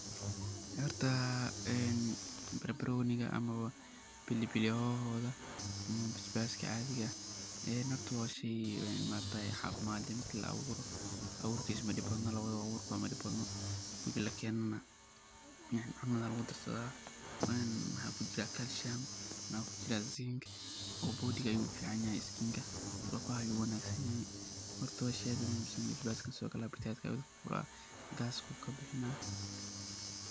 Horta barbaroniga ama pili hoho wa muhim oo jirka u fican ila waliged ayu jirka dhisa oo wax qabta cadina mahaan horta wa shey aad u muhim san oo gaska ayu kabixinaya.